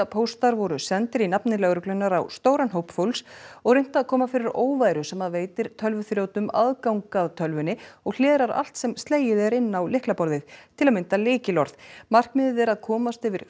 svikapóstar voru sendir í nafni lögreglunnar á stóran hóp fólks og reynt að koma fyrir óværu sem veitir tölvuþrjótum aðgang að tölvu og hlerar allt sem slegið er inn á lyklaborðið til að mynda lykilorð markmiðið er að komast yfir